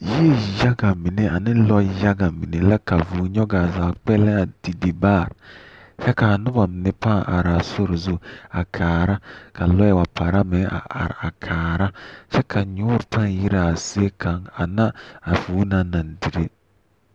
Yie yaga mine ane lɔɛ yaga mine la ka vũũ nyɔge a zaa kpɛlɛŋ a didi baare, kyɛ kaa noba mine pãã araa sori zu a kaara ka lɔɛ wa para meŋ a are a kaara, kyɛ ka nyoore pãã yire a zie kaŋ ana a vũũ naŋ naŋ dire.